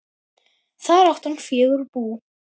Þar átti hann fjögur bú.